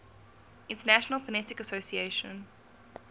international phonetic association